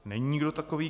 Není nikdo takový.